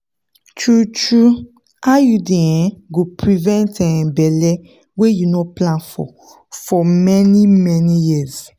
true-true iud um go prevent um belle wey you no plan for for many-many years.